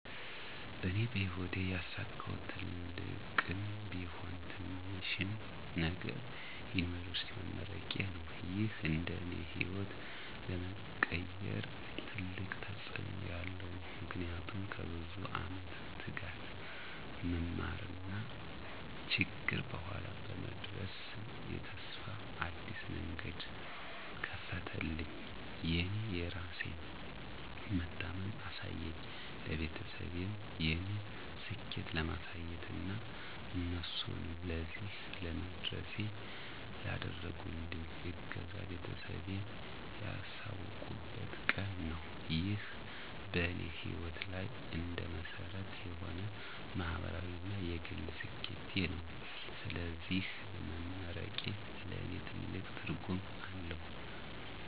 እኔ በሕይወቴ ያሳካሁት ትልቅም ቢሆን ትንሽም ነገር የዩኒቨርሲቲ መመረቄዬ ነው። ይህ እንደ እኔ ሕይወት ለመቀየር ትልቅ ተጽእኖ ያለው ነው። ምክንያቱም ከብዙ ዓመት ትጋት፣ መማርና ችግር በኋላ በመድረስ የተስፋ አዲስ መንገድ ከፈተልኝ። የእኔ የራሴን መታመን አሳየኝ፣ ለቤተሰቤም የእኔን ስኬት ለማሳየት እና እነሱንም ለዚህ ለመድረሴ ላደረጉልኝ እገዛ ቤተሰቤን ያላቁበት ቀን ነው። ይህ በእኔ ሕይወት ላይ እንደ መሰረት የሆነ ማህበራዊ እና የግል ስኬቴ ነው። ስለዚህ መመረቄ ለእኔ ትልቅ ትርጉም አለው።